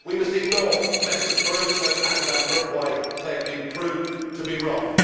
We must ignore Messrs Barroso and Van Rompuy. They have been proved to be wrong.